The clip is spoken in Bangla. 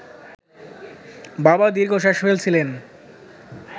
বাবা দীর্ঘশ্বাস ফেলছিলেন